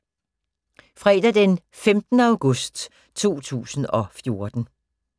Fredag d. 15. august 2014